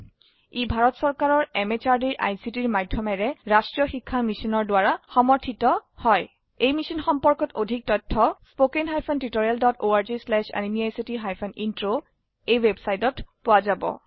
ই ভাৰত চৰকাৰৰ MHRDৰ ICTৰ মাধয়মেৰে ৰাস্ত্ৰীয় শিক্ষা মিছনৰ দ্ৱাৰা সমৰ্থিত হয় এই মিশ্যন সম্পৰ্কত অধিক তথ্য spoken hyphen tutorial dot org slash এনএমইআইচিত হাইফেন ইন্ট্ৰ ৱেবচাইটত পোৱা যাব